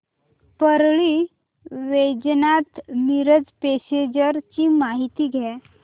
Parli Vaijnath Miraj passenger ची माहिती द्या